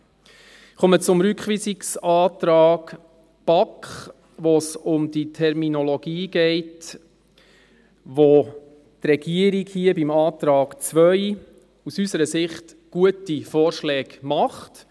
Ich komme zum Rückweisungsantrag BaK, in dem es um die Terminologie geht, zu welcher die Regierung im Antrag II aus unserer Sicht gute Vorschläge macht.